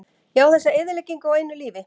Já, þessa eyðileggingu á einu lífi.